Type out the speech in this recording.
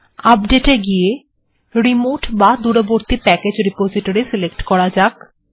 update এ গিয়ে remote বা দূরবর্তী প্যাকেজ্ রেপোসিটোরি সিলেক্ট করা যাক